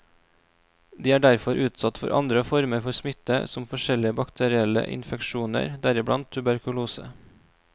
De er derfor utsatt for andre former for smitte som forskjellige bakterielle infeksjoner, deriblant tuberkulose.